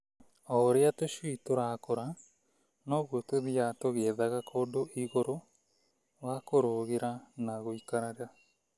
O ũrĩa tũcui tũrakũra, noguo tũthiaga tũgĩethaga kũndũ igũrũ wa kũrũgĩra na gũikarĩra.